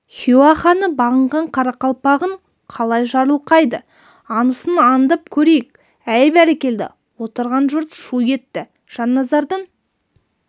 хиуа ханы бағынған қарақалпағын қалай жарылқайды аңысын аңдып көрейік әй бәрекелді отырған жұрт шу етті жанназардың